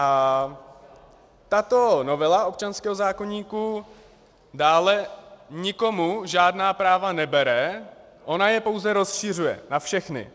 A tato novela občanského zákoníku dále nikomu žádná práva nebere, ona je pouze rozšiřuje na všechny.